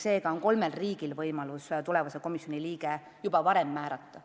Seega on kolmel riigil võimalus tulevase komisjoni liige juba varem määrata.